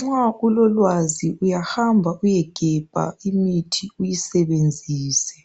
Nxa ulolwazi uyahamba uyegebha imithi uyisebenzise.